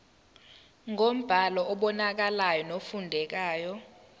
ngombhalo obonakalayo nofundekayo